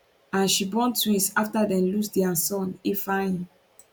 and she born twins afta dem lose dia son ifeanyi